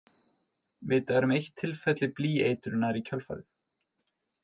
Vitað er um eitt tilfelli blýeitrunar í kjölfarið.